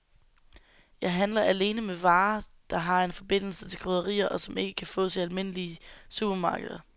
Jeg handler alene med varer, der har en forbindelse til krydderier, og som ikke kan fås i almindelige supermarkeder.